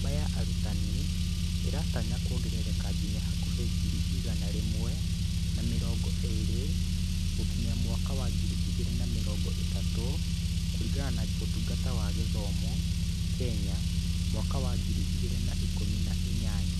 Namba ya arutani ĩratanywo kwongerereka nginya hakuhĩ ngiri igana rĩmwe na mĩrongo ĩĩrĩ gũkinya mwaka wa ngiri igĩrĩ na mĩrongo ĩtatũ kũringana na Ũtungata wa Gĩthomo, Kenya, mwaka wa ngiri igĩrĩ na ikũmi na inyanya.